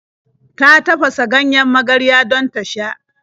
Ta tafasa ganjen magarya don ta sha.